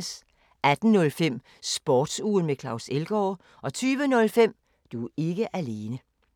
18:05: Sportsugen med Claus Elgaard 20:05: Du er ikke alene